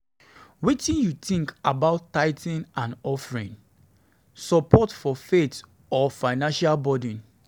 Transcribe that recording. Wetin you think about tithing and offerings, support for faith or financial burden?